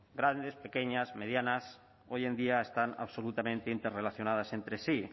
grandes pequeñas medianas hoy en día están absolutamente interrelacionadas entre sí